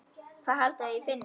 Hvað haldið þið ég finni?